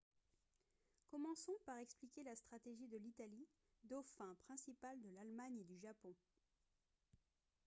commençons par expliquer la stratégie de l'italie « dauphin » principal de l'allemagne et du japon